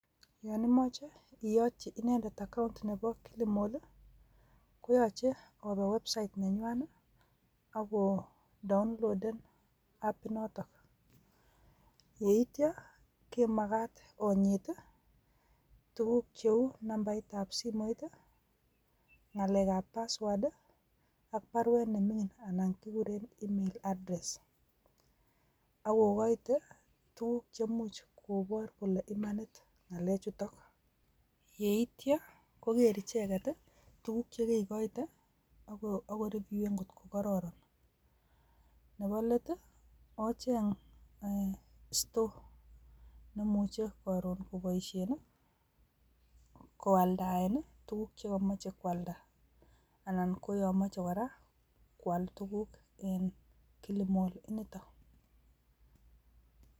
Yon imoche iyotyiii inendet account Nebo kilimalll koyoche oobe website nenywanet, ako downloaded apit notok. Yeityoo komagat onyiit I tuguuk cheu nambait ab simoit i,ngalekab password ak baruet nemingin anan kiguuren email address ak okoite tuguuk cheimuch koboor kole imanit ngalechutok..Yeityoo kogeer icheket, tuguuk chekekoite ak ko reviewen angot ko kororon. Nebo let ocheng store neimuche koro koboishien I,koaldaen tuguuk chekomoche koaldaa. Anan koyoon komoche kora koal tuguuk en killimall initok.